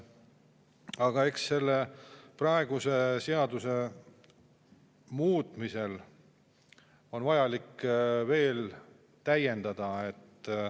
Aga eks selle praeguse seaduse muutmisega ole nii, et on vaja veel täiendada.